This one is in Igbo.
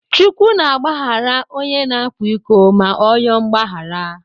Chukwu na agbaghara ọnye na akwa iko ma ọ yoo mgbaghara.